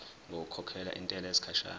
ngokukhokhela intela yesikhashana